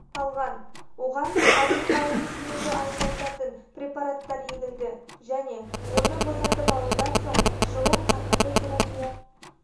қалған оған алдымен ауырсынуды азайтатын препараттар егілді және оны босатып алудан соң шұғыл қарқынды терапия